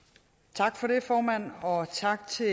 tak for det formand og tak til